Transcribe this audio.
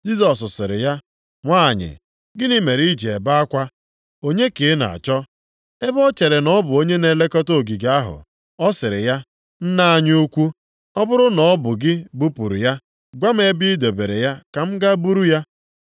Jisọs sịrị ya, “Nwanyị, gịnị mere iji ebe akwa? Onye ka ị na-achọ?” Ebe o chere na ọ bụ onye na-elekọta ogige ahụ, ọ sịrị ya, “Nna anyị ukwu, ọ bụrụ na ọ bụ gị bupụrụ ya, gwa m ebe i debere ya ka m gaa buru ya.”